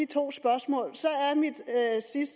to spørgsmål